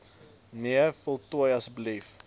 nee voltooi asb